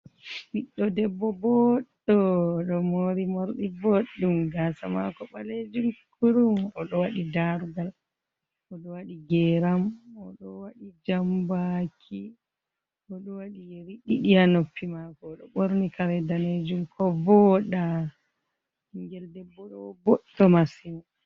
Ɓiɗɗo debbo boɗɗo oɗo mori morɗi boɗɗum, gasa mako ɓalejum kurum, oɗo waɗi darugal, oɗo waɗi geram, oɗo waɗi jambaki, oɗo waɗi yeri ɗiɗi haa noppi mako, oɗo ɓorni kare danejum kovooɗa. Ɓingel debbo ɗo boɗɗo masin.